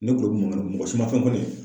Ne mɔgɔ si ma foyi fɔ ne ye.